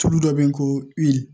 Tulu dɔ bɛ yen ko